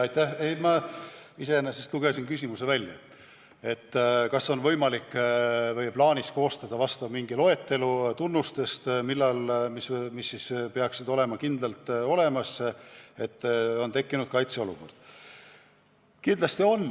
Ma lugesin siit välja küsimuse, kas on võimalik või plaanis koostada loetelu tunnustest, mis peaksid kindlasti olemas olema, et saaks rääkida kaitseolukorra tekkimisest.